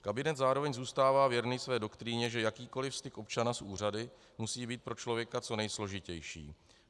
Kabinet zároveň zůstává věrný své doktríně, že jakýkoliv styk občana s úřady musí být pro člověka co nejsložitější.